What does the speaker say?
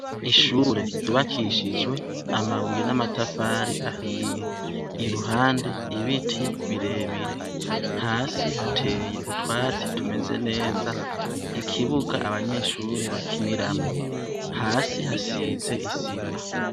Ishure ry’ubakishijwe amabuye n’amatafari ahiye, iruhande ibiti birebire, hasi hateye utwatsi tumeze neza, ikibuga abanyeshure bakiniramwo , hasi hasize isima.